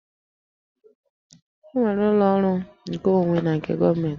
E nwere ụlọ ọrụ nkeonwe na nke gọọmentị